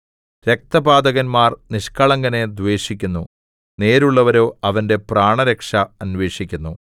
രക്തപാതകന്മാർ നിഷ്ക്കളങ്കനെ ദ്വേഷിക്കുന്നു നേരുള്ളവരോ അവന്റെ പ്രാണരക്ഷ അന്വേഷിക്കുന്നു